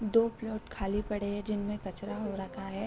दो प्लॉट खाली पड़े है जिनमे कचरा हो रखा है ।